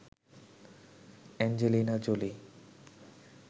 Angelina Jolie